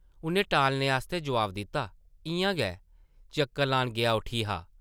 उʼन्नै टालने आस्तै जवाब दित्ता, ‘‘इʼयां गै, चक्कर लान गेआ उठी हा ।’’